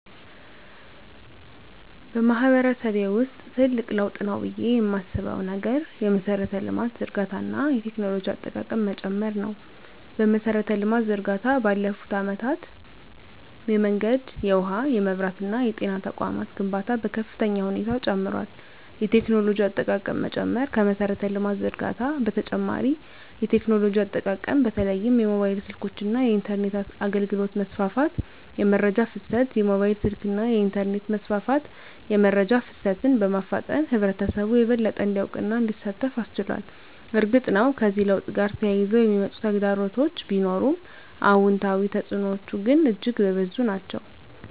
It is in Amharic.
በማህበረሰቤ ውስጥ ትልቅ ለውጥ ነው ብዬ የማስበው ነገር የመሠረተ ልማት ዝርጋታ እና የቴክኖሎጂ አጠቃቀም መጨመር ነው። የመሠረተ ልማት ዝርጋታ ባለፉት አመታት የመንገድ፣ የውሃ፣ የመብራት እና የጤና ተቋማት ግንባታ በከፍተኛ ሁኔታ ጨምሯል። የቴክኖሎጂ አጠቃቀም መጨመር ከመሠረተ ልማት ዝርጋታ በተጨማሪ የቴክኖሎጂ አጠቃቀም በተለይም የሞባይል ስልኮች እና የኢንተርኔት አገልግሎት መስፋፋት። * የመረጃ ፍሰት: የሞባይል ስልክና የኢንተርኔት መስፋፋት የመረጃ ፍሰትን በማፋጠን ህብረተሰቡ የበለጠ እንዲያውቅና እንዲሳተፍ አስችሏል። እርግጥ ነው፣ ከዚህ ለውጥ ጋር ተያይዘው የሚመጡ ተግዳሮቶች ቢኖሩም፣ አዎንታዊ ተፅዕኖዎቹ ግን እጅግ የበዙ ናቸው።